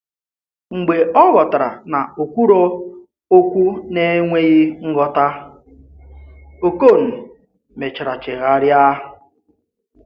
Mgbe ọ̀ ghọtara na ọ̀ kwùrò òkwù n’enweghị nghọta, Òkòn mechara chegharịa.